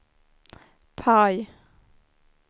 PIE